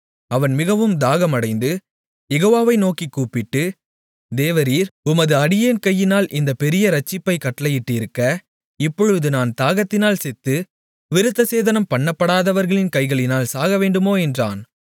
அவன் மிகவும் தாகமடைந்து யெகோவாவை நோக்கிக் கூப்பிட்டு தேவரீர் உமது அடியேன் கையினால் இந்தப் பெரிய இரட்சிப்பைக் கட்டளையிட்டிருக்க இப்பொழுது நான் தாகத்தினால் செத்து விருந்தசேதனம் பண்ணப்படாதவர்களின் கைகளினால் சாகவேண்டுமோ என்றான்